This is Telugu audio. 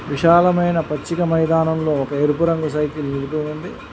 విశాలమైన పచ్చిక మైదానంలో ఒక ఎరుపు రంగు సైకిల్ నిలిపి ఉంది.